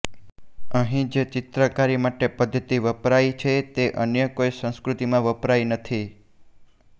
અહીં જે ચિત્રકારી માટે પદ્ધતિ વપરાઈ છે તે અન્ય કોઈ સંસ્કૃતિમાં વપરાઈ નથી